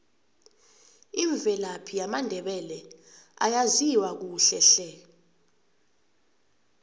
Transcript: imvelaphi yamandebele ayaziwa kuhle hle